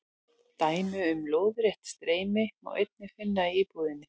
Dæmi um lóðrétt streymi má einnig finna í íbúðinni.